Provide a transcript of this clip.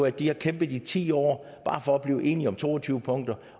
at de har kæmpet i ti år bare for at blive enige om to og tyve punkter